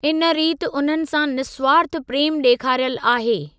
इन रीत उन्हनि सां निस्वार्थ प्रेमु ॾेखारियलु आहे।